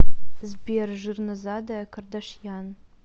сбер жирнозадая кардашьян